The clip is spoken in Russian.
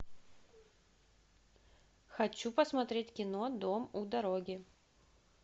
хочу посмотреть кино дом у дороги